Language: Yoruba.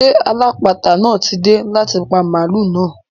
Ṣé alápàáta náà ti dé láti pa màlúù náà?